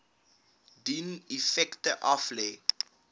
dien effekte aflê